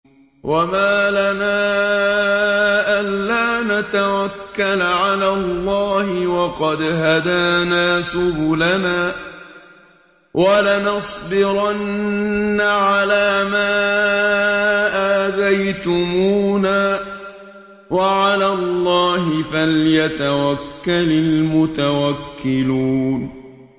وَمَا لَنَا أَلَّا نَتَوَكَّلَ عَلَى اللَّهِ وَقَدْ هَدَانَا سُبُلَنَا ۚ وَلَنَصْبِرَنَّ عَلَىٰ مَا آذَيْتُمُونَا ۚ وَعَلَى اللَّهِ فَلْيَتَوَكَّلِ الْمُتَوَكِّلُونَ